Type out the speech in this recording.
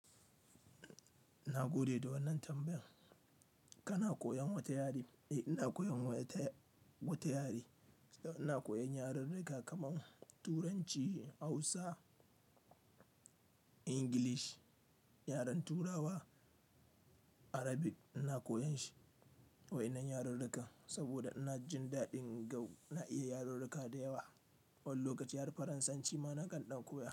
Na gode da wannan tambayan. Kana koyan wata yare? Eh, ina koyan wata, wata yare. Ina koyan yararruka kaman Turanci, Hausa, Ingilish, yaren Turawa, Arabic ina koyan shi. Wayannan yararrukan saboda ina jin daɗin gau, na iya yararruka da yawa. Wani lokaci har Faransanci ma na kan ɗan koya.